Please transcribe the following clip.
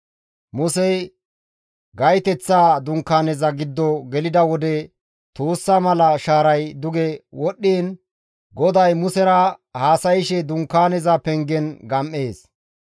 Musey gayteththa dunkaaneza giddo gelida wode tuussa mala shaaray duge wodhdhiin GODAY Musera haasayshe dunkaaneza pengen gam7ees.